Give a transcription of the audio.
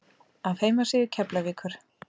Af heimasíðu Keflavíkur